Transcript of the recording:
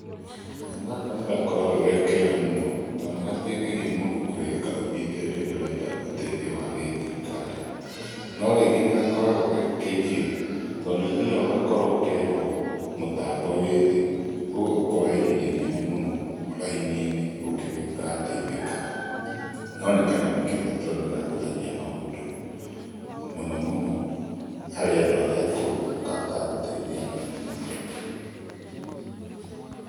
Kanyamũ gaka nigakoragwo ge kega mũno, tondũ nĩgateithagia mũndũ kwĩhĩka ũthiĩte rĩrĩa ũrenda ũteithio wa gĩthirikari. No rĩngĩ nĩgakoragwo ge kĩgio, tondũ niũthiaga ũgakora ũkerwo mũtambo wĩ thĩ, koguo ũkoya ihinda inene mũno raini-inĩ ũngĩgĩgateithĩka. No nĩ kanyamũ kega tondũ nĩkahũthagia maũndũ. Mũno mũno, harĩ andũ arĩa akũrũ, nĩkahotaga gũteithia narua mũno.